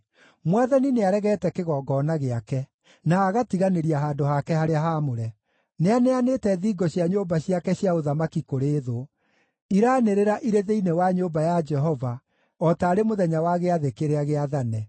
Mwathani nĩaregete kĩgongona gĩake, na agatiganĩria handũ hake harĩa haamũre. Nĩaneanĩte thingo cia nyũmba ciake cia ũthamaki kũrĩ thũ; iraanĩrĩra irĩ thĩinĩ wa nyũmba ya Jehova, o taarĩ mũthenya wa gĩathĩ kĩrĩa gĩathane.